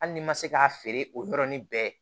Hali ni ma se k'a feere o yɔrɔnin bɛɛ